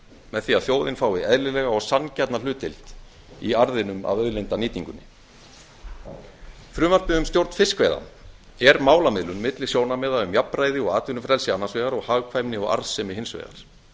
með því að þjóðin fái eðlilega og sanngjarna hlutdeild í arðinum af auðlindanýtingunni frumvarpið um stjórn fiskveiða er málamiðlun milli sjónarmiða um jafnræði og atvinnufrelsi annars vegar og hagkvæmni og arðsemi hins vegar